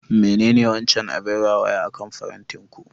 Menene wancan abin rawaya akan farantin ku?